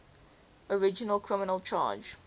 original criminal charge